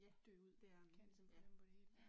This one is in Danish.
JaJa, det er den, ja. Ja